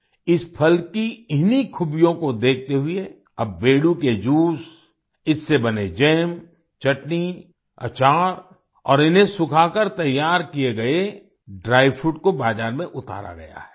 इस फल की इन्हीं खूबियों को देखते हुए अब बेडू के जूस इससे बने जैम चटनी अचार और इन्हें सुखाकर तैयार किए गए ड्राई फ्रूट को बाजार में उतारा गया है